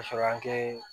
Ka sɔrɔ an tɛ